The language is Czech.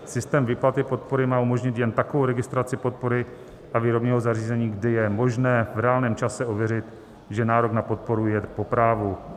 Systém výplaty podpory má umožnit jen takovou registraci podpory a výrobního zařízení, kdy je možné v reálném čase ověřit, že nárok na podporu je po právu.